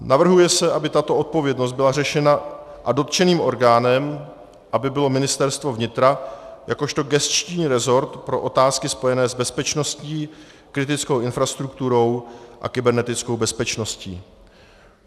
Navrhuje se, aby tato odpovědnost byla řešena a dotčeným orgánem aby bylo Ministerstvo vnitra jakožto gesční rezort pro otázky spojené s bezpečností, kritickou infrastrukturou a kybernetickou bezpečností.